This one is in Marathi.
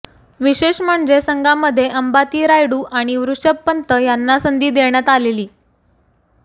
विशेष म्हणजे संघामध्ये अंबाती रायडू आणि ऋषभ पंत यांना संधी देण्यात आलेली